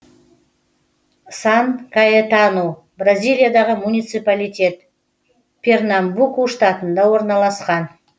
сан каэтану бразилиядағы муниципалитет пернамбуку штатында орналасқан